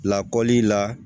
Lakɔli la